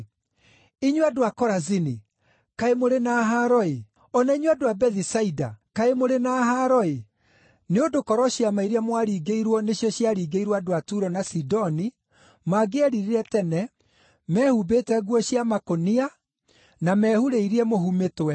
“Inyuĩ andũ a Korazini, kaĩ mũrĩ na haaro-ĩ! O na inyuĩ andũ a Bethisaida, kaĩ mũrĩ na haaro-ĩ! Nĩ ũndũ korwo ciama iria mwaringĩirwo nĩcio ciaringĩirwo andũ a Turo na Sidoni, mangĩeririre tene, mehumbĩte nguo cia makũnia na mehurĩrie mũhu mĩtwe.